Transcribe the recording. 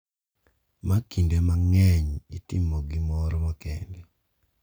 ma kinde mang’eny itimo gi gimoro makende ,.